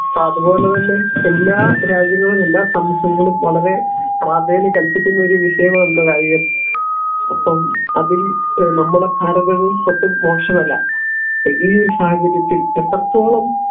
അപ്പോ അത്പോലെ തന്നെ എല്ലാ രാജ്യങ്ങളും എല്ലാ വളരെ പ്രാധാന്യം കൽപ്പിക്കുന്ന ഒരു വിഷയമാണല്ലോ കായികം അപ്പം അതില് നമ്മടെ ഭാരതവും ഒട്ടും മോശമല്ല ഈ ഒരു സാഹചര്യത്തിൽ എത്രത്തോളം